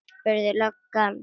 spurði löggan.